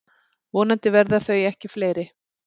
Vonandi verða þau ekki fleiri.